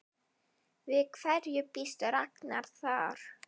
Við hverju býst Ragnar þar?